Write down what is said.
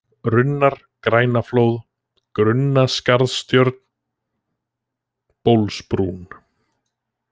Runnar, Grænaflóð, Grunnaskarðstjörn, Bólsbrún